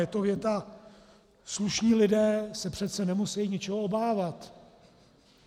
Je to věta: Slušní lidé se přece nemusejí ničeho obávat.